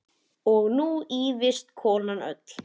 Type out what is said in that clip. Og nú ýfist konan öll.